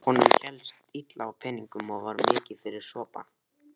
Honum hélst illa á peningum og var mikið fyrir sopann.